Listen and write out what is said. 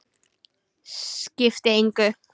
Skipti engu.